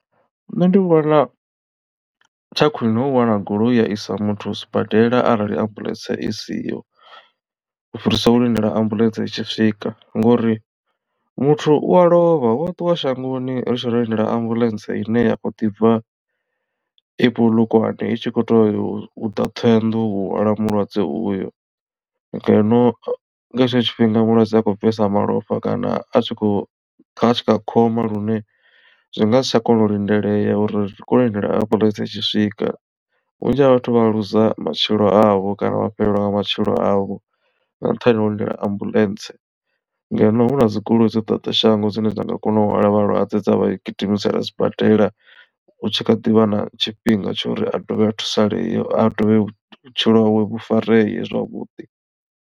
Nṋe ndi vhona tsha khwiṋe hu wana goloi ya i sa muthu sibadela arali ambuḽentse i siho u fhirisa u lindela ambuḽentse itshi swika ngori muthu u a lovha wa ṱuwa shangoni ri tshe ro lindela ambulance ine ya kho ḓi bva i Polokwane i tshi kho to ḓa Ṱhohoyandou u hwala mulwadze uyo. Ngeno nga hetsho tshifhinga mulwadze akhou bvesa malofha kana a tshi khou kha tshikha khomba lune zwi nga si tsha kona u lindelea uri ri ngasi tsha kona u lindela ambuḽentse i tshi swika vhunzhi ha vhathu vha a luza matshilo avho kana vha fhelelwa nga matshilo avho nga nṱhani ha u lindela ambuḽentse ngeno hu na dzigoloi dzo ḓadza shango dzine dza nga kona u hwala vhalwadze dza vha gidimisela sibadela u tshi kha ḓivha na tshifhinga tshori a dovhe a thusalee a dovhe vhutshilo hawe vhu fareye zwavhuḓi.